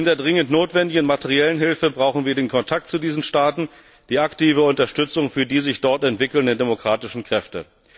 Neben der dringend notwendigen materiellen Hilfe brauchen wir den Kontakt zu diesen Staaten, die aktive Unterstützung für die sich dort entwickelnden demokratischen Kräfte.